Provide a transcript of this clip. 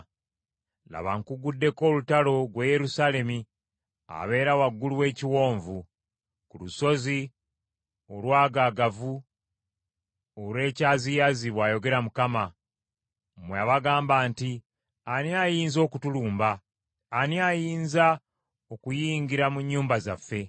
Laba nkugguddeko olutalo, ggwe Yerusaalemi abeera waggulu w’ekiwonvu, ku lusozi olwagaagavu olw’ekyaziyazi, bw’ayogera Mukama , mmwe abagamba nti, “Ani ayinza okutulumba? Ani ayinza okuyingira mu nnyumba zaffe?”